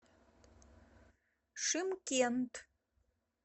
шымкент